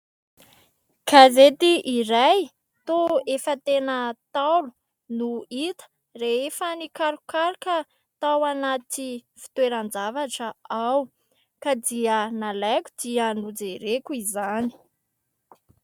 Gazety iray, toa efa tena ntaolo, no hita rehefa nikarokaroka tao anaty fitoeran-javatra aho ; ka dia nalaiko, dia nojereko izany.